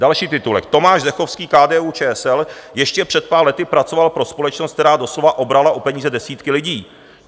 Další titulek: Tomáš Zdechovský, KDU-ČSL, ještě před pár lety pracoval pro společnost, která doslova obrala o peníze desítky lidí.